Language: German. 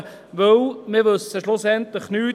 Denn wir wissen schlussendlich nichts.